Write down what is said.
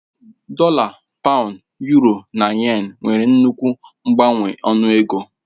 Dọla, Pàund, Yuro na Yén nwere nnukwu mgbanwe ọnụ ego